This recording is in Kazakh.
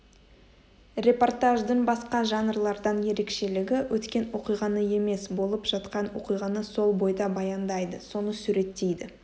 репортаждың басқа жанрлардан ерекшелігі өткен оқиғаны емес болып жатқан оқиғаны сол бойда баяндайды соны суреттейді